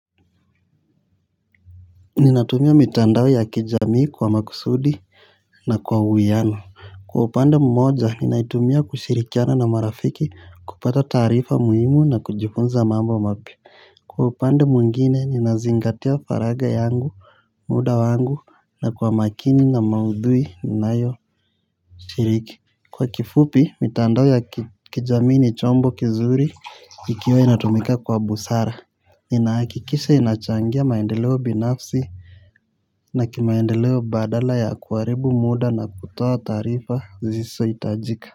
Ninatumia mitandao ya kijamii kwa makusudi na kwa uwiano. Kwa upande mmoja ninaitumia kushirikiana na marafiki kupata taarifa muhimu na kujifunza mambo mapya. Kwa upande mwingine ninazingatia faraga yangu. Muda wangu na kwa makini na maudhui ninayo shiriki. Kwa kifupi mitandao ya kijamii ni chombo kizuri ikiwa inatumika kwa busara inaakikisha inachangia maendeleo binafsi na kimaendeleo badala ya kuharibu muda na kutoa taarifa zisio itajika.